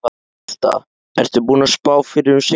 Birta: Ertu búinn að spá fyrir um sigurvegara?